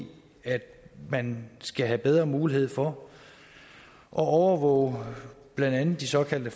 at man skal have bedre mulighed for at overvåge blandt andet de såkaldte